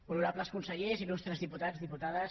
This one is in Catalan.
honorables consellers il·lustres diputats i diputades